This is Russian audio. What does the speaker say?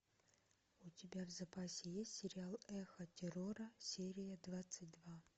у тебя в запасе есть сериал эхо террора серия двадцать два